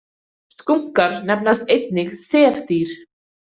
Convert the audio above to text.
Skunkar nefnast einnig þefdýr.